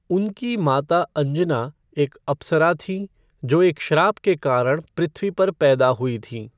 उनकी माता अंजना एक अप्सरा थीं जो एक श्राप के कारण पृथ्वी पर पैदा हुई थीं।